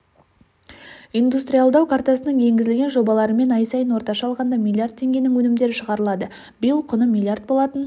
индустриалдау картасының енгізілген жобаларымен ай сайын орташа алғанда миллиард теңгенің өнімдері шығарылады биыл құны миллиард болатын